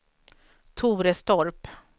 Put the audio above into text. Torestorp